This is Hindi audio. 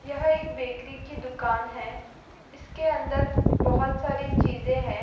यह एक बेकरी की दुकान है इसके अंदर बहुत सारी चीज़े है।